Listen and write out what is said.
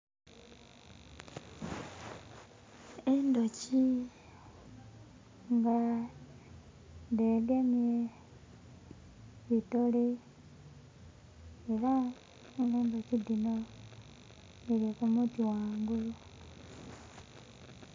Endhoki nga dhegemye bitole era nga endhoki dhino dhili ku muti ghangulu.